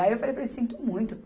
Aí eu falei para eles sinto muito.